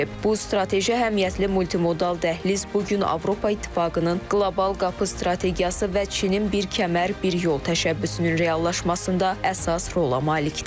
Bu strateji əhəmiyyətli multimodal dəhliz bu gün Avropa İttifaqının qlobal qapı strategiyası və Çinin bir kəmər, bir yol təşəbbüsünün reallaşmasında əsas rola malikdir.